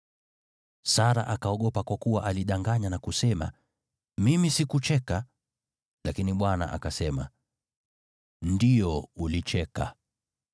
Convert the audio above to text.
Sara akaogopa kwa kuwa alidanganya na kusema, “Mimi sikucheka.” Lakini Bwana akasema, “Ndiyo, ulicheka!”